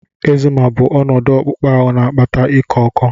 Ekzima bụ ọnọdụ akpụkpọ na-akpata iko oko.